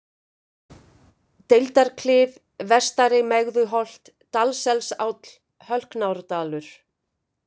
Deildarklif, Vestari-Megðuholt, Dalsselsáll, Hölknárdalur